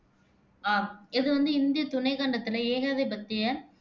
ஆஹ் இது வந்து இந்தியத் துணைக் கண்டத்துல ஏகாதிபத்திய